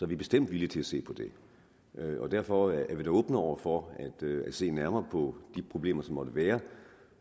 vi bestemt villige til at se på dem derfor er vi da åbne over for at se nærmere på de problemer som måtte være